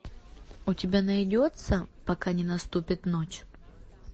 у тебя найдется пока не наступит ночь